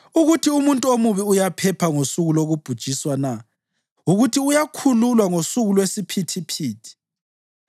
ukuthi umuntu omubi uyaphepha ngosuku lokubhujiswa na, ukuthi uyakhululwa ngosuku lwesiphithiphithi?